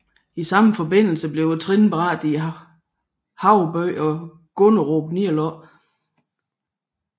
I samme forbindelse blev trinbrætterne Havebyen og Gunnestrup nedlagt